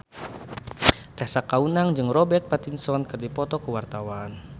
Tessa Kaunang jeung Robert Pattinson keur dipoto ku wartawan